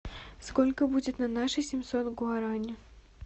сколько будет на наши семьсот гуарани